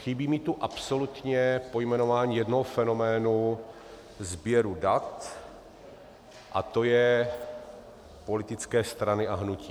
Chybí mi tu absolutně pojmenování jednoho fenoménu sběru dat, a to je politické strany a hnutí.